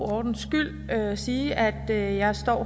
ordens skyld sige at jeg står